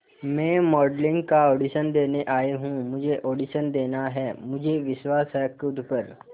मैं मॉडलिंग का ऑडिशन देने आई हूं मुझे ऑडिशन देना है मुझे विश्वास है खुद पर